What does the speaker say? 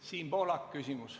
Siim Pohlak, küsimus.